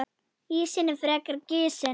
Ísinn er frekar gisinn.